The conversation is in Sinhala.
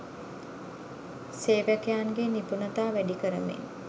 සේවකයන්ගේ නිපුණතා වැඩිකරමින්